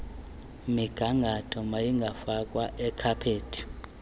migangatho mayingafakwa ikhaphethi